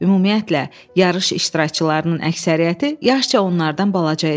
Ümumiyyətlə, yarış iştirakçılarının əksəriyyəti yaşca onlardan balaca idi.